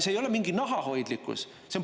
See ei ole mingi nahahoidlikkus.